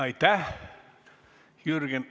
Aitäh!